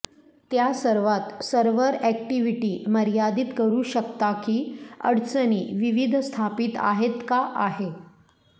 त्या सर्वात server activity मर्यादित करू शकता की अडचणी विविध स्थापित आहेत का आहे